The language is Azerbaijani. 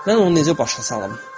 Mən onu necə başa salım?